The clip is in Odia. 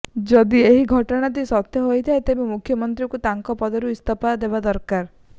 ଯଦି ଏହି ଘଟଣାଟି ସତ୍ୟ ହୋଇଥାଏ ତେବେ ମୁଖ୍ୟମନ୍ତ୍ରୀଙ୍କୁ ତାଙ୍କ ପଦରୁ ଇସ୍ତଫା ଦେବା ଦରକାର